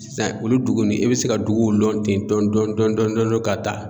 Sisan olu dugu ni i bɛ se ka duguw lɔn ten dɔɔni dɔɔni dɔɔni dɔɔni dɔɔni ka taa.